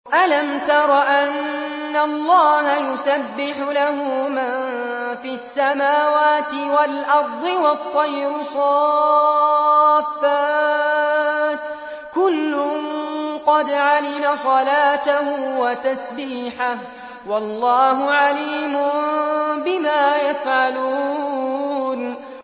أَلَمْ تَرَ أَنَّ اللَّهَ يُسَبِّحُ لَهُ مَن فِي السَّمَاوَاتِ وَالْأَرْضِ وَالطَّيْرُ صَافَّاتٍ ۖ كُلٌّ قَدْ عَلِمَ صَلَاتَهُ وَتَسْبِيحَهُ ۗ وَاللَّهُ عَلِيمٌ بِمَا يَفْعَلُونَ